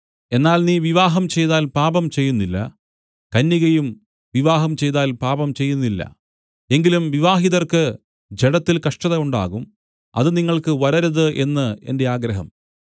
എന്നാൽ നീ വിവാഹം ചെയ്താൽ പാപം ചെയ്യുന്നില്ല കന്യകയും വിവാഹം ചെയ്താൽ പാപം ചെയ്യുന്നില്ല എങ്കിലും വിവാഹിതർക്ക് ജഡത്തിൽ കഷ്ടത ഉണ്ടാകും അത് നിങ്ങൾക്ക് വരരുത് എന്ന് എന്റെ ആഗ്രഹം